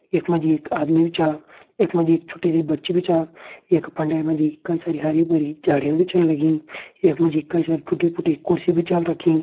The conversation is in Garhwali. यख मा जी एक आदमी भी छा यख मा जी एक छोटी सी बच्ची भी छा यख फंडे मा जी कई सारी हरी भरी झाड़ियाँ भी छन लगीं यख मा जी कई सारी टुटि फुटि कुर्सी भी छा रखीं।